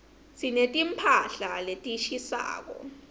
sineti mphahla letishisako